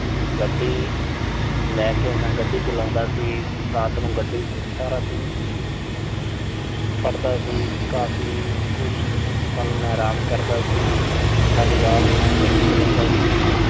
ਗੱਡੀ ਲੈ ਕੇ ਮੈਂ, ਗੱਡੀ ਚਲਾਉਂਦਾ ਸੀ। ਰਾਤ ਨੂੰ ਗੱਡੀ, ਸਾਰਾ ਦਿਨ ਪੜ੍ਹਦਾ ਸੀ। ਕਾਫ਼ੀ ਕੁਸ਼ ਪਲ ਮੈਂ ਆਰਾਮ ਕਰਦਾ ਸੀ। ਸਾਰੀ ਰਾਤ ਮੈਂ ਗੱਡੀ ਚਲਾਉਂਦਾ ਸੀ।